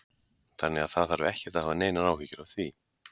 Þannig að það þarf ekkert að hafa neinar áhyggjur af því?